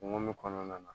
Kungo kɔnɔna na